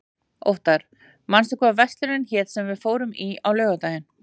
Óttar, manstu hvað verslunin hét sem við fórum í á laugardaginn?